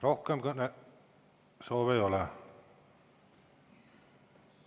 Rohkem kõnesoove ei ole.